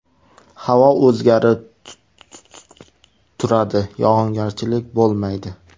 Havo o‘zgarib turadi, yog‘ingarchilik bo‘lmaydi.